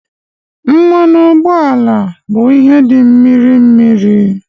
Mmanụ ụgbọala bụ ihe dị mmirir